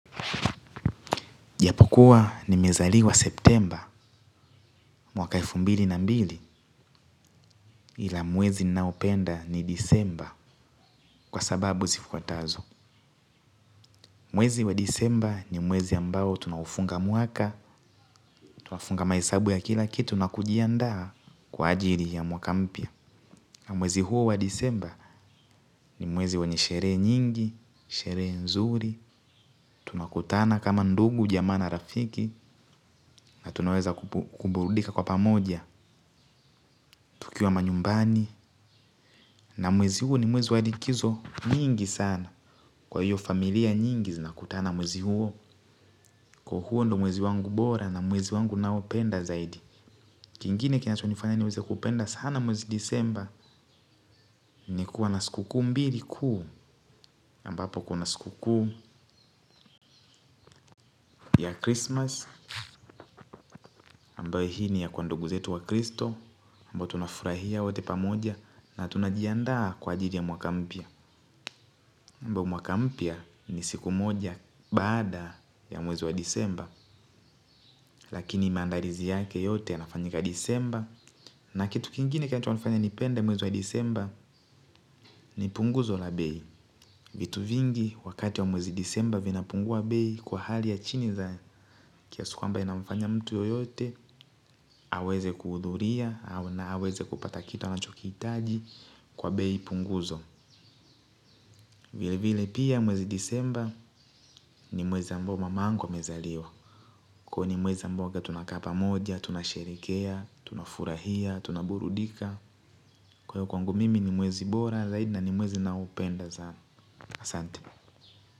Japokuwa nimezaliwa septemba mwaka elfu mbili na mbili ila mwezi naopenda ni disemba kwa sababu zifuatazo. Mwezi wa disemba ni mwezi ambao tunaufunga mwaka, tunafunga maisabu ya kila kitu na kujiandaa kwa ajili ya mwakampya. Mwezi huu wa disemba ni mwezi wa nishere nyingi, sherehe nzuri, tunakutana kama ndugu, jamaa na rafiki na tunaweza kuburudika kwa pamoja, tukiwa manyumbani. Na mwezi huu ni mwezi walikizo mingi sana. Kwa hiyo familia nyingi zinakutana mwezi huu huu ni mwezi wangu bora na mwezi wangu ninaopenda zaidi. Kingine kinachonifanya ni weze kupenda sana mwezi disemba. Ni kuwa na skuku mbili kuu. Mbapo kuna sikuku ya Christmas ambaye hii ni ya kwa nduguzetu wa Kristo ambapo tunafurahia wote pamoja. Na tunajiandaa kwa ajili ya mwakampya ambapo mwakampya ni siku moja baada ya mwezi wa disemba. Lakini maandalizi yake yote anafanyika disemba. Na kitu kingine kitu inafanya nipende mwezi wa disemba ni punguzo la bei. Vitu vingi wakati wa mwezi disemba vinapungua bei kwa hali ya chini za kiasi kwamba inafanya mtu yoyote aweze kuhudhuria au na aweze kupata kitu anachokiitaji kwa bei punguzo. Vile vile pia mwezi disemba ni mwezi ambao mamangu amezaliwa. Kwa ni mwezi ambayo tunaka pamoja, tunasherekea, tunafurahia, tunaburudika. Kwaiyo kwangu mimi ni mwezi bora, zaidi na ni mwezi naopenda sana asante.